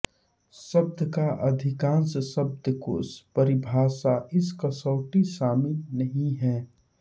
शब्द का अधिकांश शब्दकोश परिभाषा इस कसौटी शामिल नहीं हैं